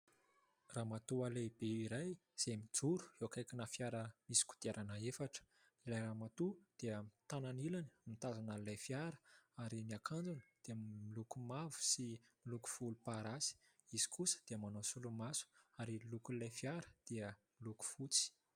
Ramatoa lehibe iray izay mijoro eo akaikina fiara misy kodiarana efatra. Ilay ramatoa dia ny tanany ilany mitazona an'ilay fiara ary ny akanjony dia miloko mavo sy miloko volomparasy. Izy kosa dia manao solomaso ary ny lokon'ilay fiara dia miloko fotsy.